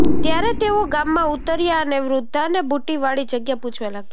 ત્યારે તેઓ ગામમાં ઉતર્યા અને વૃદ્ધાને બૂટીવાળી જગ્યા પૂછવા લાગ્યા